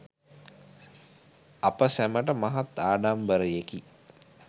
අප සැමට මහත් ආඩම්බරයෙකි.